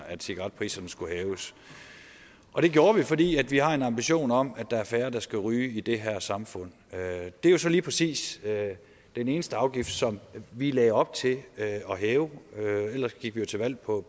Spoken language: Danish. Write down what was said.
at cigaretpriserne skulle hæves og det gjorde vi fordi vi har en ambition om at der er færre der skal ryge i det her samfund det er jo så lige præcis den eneste afgift som vi lagde op til at hæve ellers gik vi jo til valg på